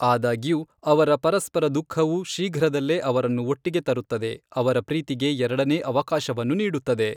ಆದಾಗ್ಯೂ, ಅವರ ಪರಸ್ಪರ ದುಃಖವು ಶೀಘ್ರದಲ್ಲೇ ಅವರನ್ನು ಒಟ್ಟಿಗೆ ತರುತ್ತದೆ, ಅವರ ಪ್ರೀತಿಗೆ ಎರಡನೇ ಅವಕಾಶವನ್ನು ನೀಡುತ್ತದೆ.